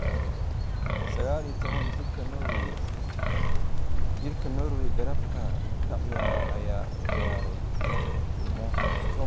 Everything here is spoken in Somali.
Sagal iyo toban jirka Norway garabka ka ciyaara ayaa u ciyaarayay kooxda Tromso.